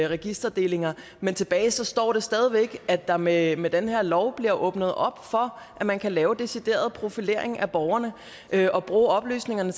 registerdelinger men tilbage står det stadig væk at der med med den her lov bliver åbnet op for at man kan lave decideret profilering af borgerne og bruge oplysningerne